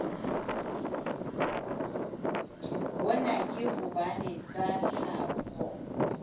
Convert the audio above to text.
hona ke hobane tsa tlhaho